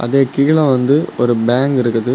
இது கீழ வந்து ஒரு பேங்க் இருக்குது.